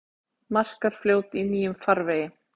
Markarfljót í nýjum farvegi